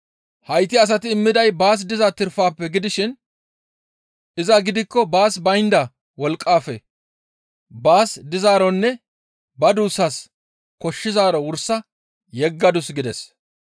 Hayti asati immiday baas diza tirpafe gidishin iza gidikko baas baynda wolqqaafe baas dizaaronne ba duussas koshshizaaro wursa yeggadus» gides.